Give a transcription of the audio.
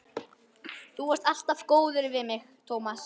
Þú varst alltaf góður við mig, Tómas.